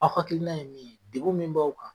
Aw hakilina ye mun ye degu min b'aw kan